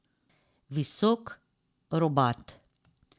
Visok, robat.